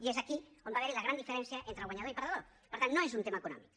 i és aquí on va haver hi la gran diferència entre guanyador i perdedor per tant no és un tema econòmic